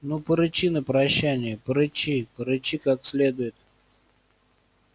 ну порычи на прощанье порычи порычи как следует